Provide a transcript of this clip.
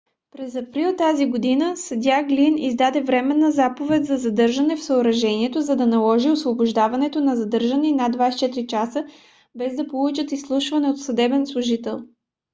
през април тази година съдия глин издаде временна заповед за задържане в съоръжението за да наложи освобождаването на задържани над 24 часа без да получат изслушване от съдебен служител